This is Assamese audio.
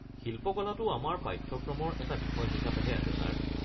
শিল্পকলাটো আমাৰ পাঠ্যক্ৰমৰ এটা বিষয় হিচাপেহে আছে ছাৰ।